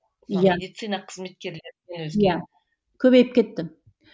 көбейіп кетті